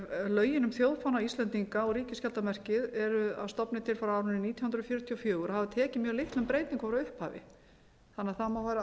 lögin um þjóðfána íslendinga og ríkisskjaldarmerkið eru að stofni til frá árinu nítján hundruð fjörutíu og fjögur og hafa tekið mjög litlum breytingum frá upphafi þannig að það mega vera